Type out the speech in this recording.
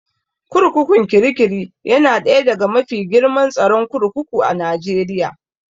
Kurkukun Kirikiri yana ɗaya daga mafi girman tsaron kurkuku a Najeriya